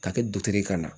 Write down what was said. Ka kɛ dutigi kana